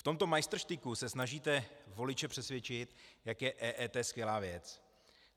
V tomto majstrštyku se snažíte voliče přesvědčit, jak je EET skvělá věc.